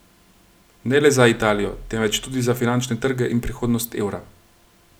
Ne le za Italijo, temveč tudi za finančne trge in prihodnost evra.